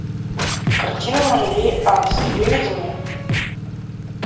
картина муравей антц выведи мне